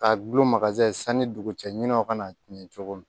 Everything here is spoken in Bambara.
Ka gulon sani dugu cɛɲaw kana tiɲɛ cogo min